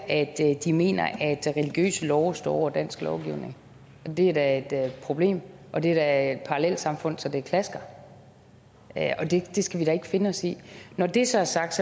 at de mener at religiøse love står over dansk lovgivning det er da et problem og det er da et parallelsamfund så det klasker det skal vi da ikke finde os i når det så er sagt